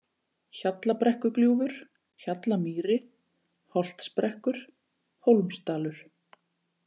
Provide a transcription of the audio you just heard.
Hjallabrekkugljúfur, Hjallamýri, Holtsbrekkur, Hólmsdalur